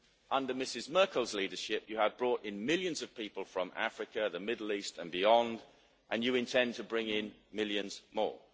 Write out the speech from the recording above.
Under Mrs Merkel's leadership you have brought in millions of people from Africa, the Middle East and beyond, and you intend to bring in millions more.